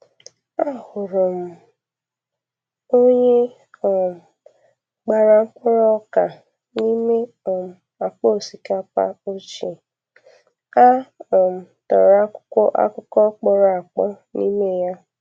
Ahụrụ m onye um gbara mkpụrụ ọka n'ime um akpa osikapa ochie a um tọrọ akwụkwo akụkọ kpọrọ akpọ nime ya.